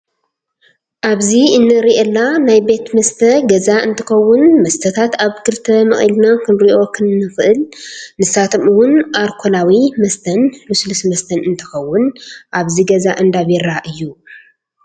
ኣብዚ እንሪላ ናይ ቤት መስተ ገዛቀ እንትከውን መስተታት ኣብ ክልተ መቂልና ክንሪኦ ንክል ንሳቶም እውን ኣርኮላዊ መስተን ሉስሉስ መስተን እንትከውን ኣብዚ ገዛ እንዳ ቢራ እዩ።